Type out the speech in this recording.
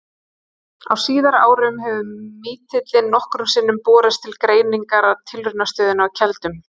Á síðari árum hefur mítillinn nokkrum sinnum borist til greiningar að Tilraunastöðinni á Keldum.